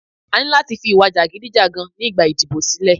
A ní láti fi ìwà jàgídíjàgan nígbà ìdìbò sílẹ̀.